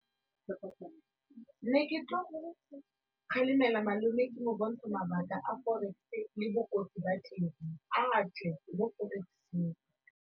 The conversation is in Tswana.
Ne ke tlo go kgalemela malome ke mo bontsha mabaka a le bokotsi ba teng a tswe mo forex-eng.